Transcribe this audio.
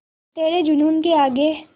तेरे जूनून के आगे